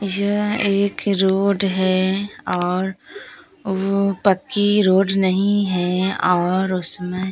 यह एक रोड है और वो पक्की रोड नहीं है और उसमें--